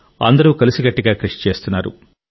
అందరూ కలిసికట్టుగా కృషి చేస్తున్నారు